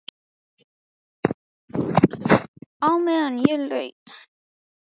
Á meðan ég leita að einhverju öðru svaraði Ragnhildur.